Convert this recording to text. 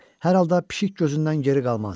Hər halda pişik gözündən geri qalmazdı.